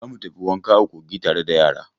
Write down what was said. Za mu tafi wanka a kogi tare da yara.